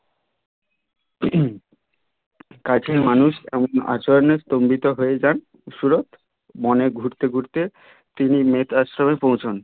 কাছের মানুষ এমন আচরণের স্তম্বিত হয়ে যান সুরৎ বনে ঘুরতে ঘুরতে তিনি মেট আশ্রমে পৌঁছান